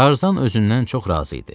Tarzan özündən çox razı idi.